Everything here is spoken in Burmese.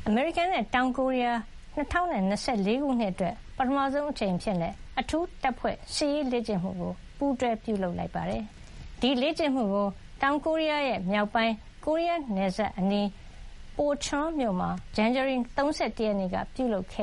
အမေရိကန်နဲ့ တောင်ကိုရီးယား ၂၀၂၄ ခုနှစ် အတွက် ပထမဆုံးအကြိမ် အဖြစ် အထူးတပ်ဖွဲ့ စစ်ရေးလေ့ကျင့်မှုကို ပူးတွဲပြုလုပ်ခဲ့ပါတယ်။ ဒီလေ့ကျင့်မှုကို တောင်ကိုရီးယားမြောက်ပိုင်း ကိုရီးယားနယ်စပ်အနီး Pocheon မြို့မှာ ဇန်နဝါရီ ၃၁ ရက်က ပြုလုပ်ခ